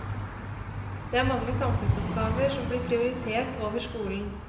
Det er mange samfunnsoppgaver som blir prioritert over skolen.